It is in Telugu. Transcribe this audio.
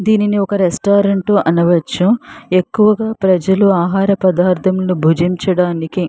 దీనిని ఒక రెస్టారంట్ అనవచ్చు ఎక్కువగా ప్రజలు ఆహార పదార్దాలు భుజించడానికి --